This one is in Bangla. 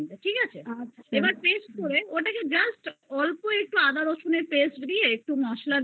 just অল্প আদা রসুন এর paste দিয়ে একটু মসলা দিয়ে একটু গরমে